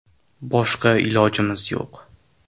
“Boshqa ilojimiz yo‘q.